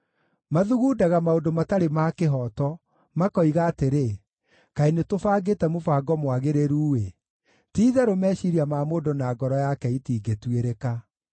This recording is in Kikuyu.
Mathugundaga maũndũ matarĩ ma kĩhooto, makoiga atĩrĩ, “Kaĩ nĩtũbangĩte mũbango mwagĩrĩru-ĩ!” Ti-itherũ meciiria ma mũndũ na ngoro yake itingĩtuĩrĩka.